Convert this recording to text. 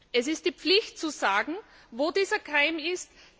Es ist die Pflicht, zu sagen, wo dieser Keim ist.